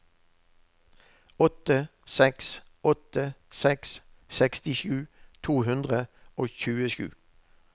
åtte seks åtte seks sekstisju to hundre og tjuesju